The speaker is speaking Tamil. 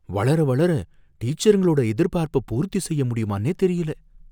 வளர வளர, டீச்சருங்களோட எதிர்பார்ப்ப பூர்த்தி செய்ய முடியுமானே தெரியல!